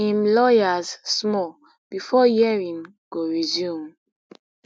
im lawyers small bifor hearing go resume